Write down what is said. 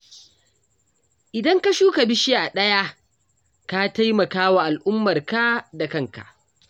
Idan ka shuka bishiya ɗaya, ka taimaka wa al'ummarka da kanka